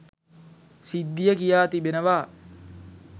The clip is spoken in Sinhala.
සිද්ධිය කියා තිබෙනවා.